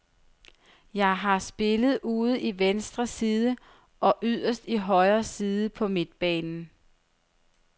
Jeg har spillet ude i venstre side og yderst i højre side på midtbanen.